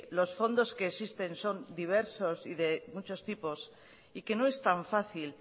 los fondos que existen son diversos y de muchos tipos y que no es tan fácil